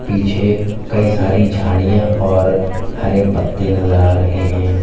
पीछे कई सारी झाड़ियां और हरे पत्ते नजर आ रहे हैं।